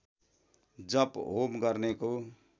जप होम गर्नेको